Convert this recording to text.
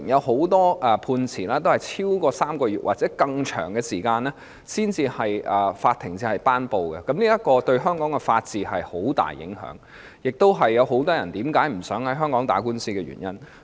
很多判詞均在超過3個月或更長的時間後才頒布，這對香港的法治有很大影響，亦是很多人不想在香港打官司的原因。